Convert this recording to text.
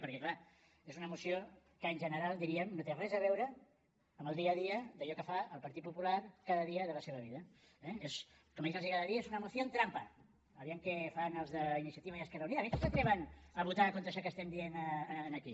perquè clar és una moció que en general diríem no té res a veure amb el dia a dia d’allò que fa el partit popular cada dia de la seva vida eh com a ells els agrada dir es una moción trampa a veure què fan els d’iniciativa i esquerra unida a veure si s’atreveixen a votar contra això que estem dient aquí